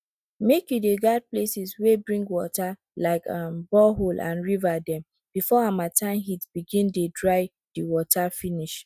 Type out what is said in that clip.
make you dey guard places wey bring water like um borehole and river dem before harmattan heat begin dey dry de water finish